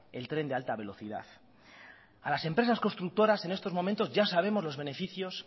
el tren de alta velocidad a las empresas constructoras en estos momentos ya sabemos los beneficios